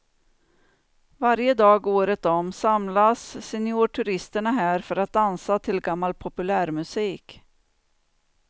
Varje dag året om samlas seniorturisterna här för att dansa till gammal populärmusik.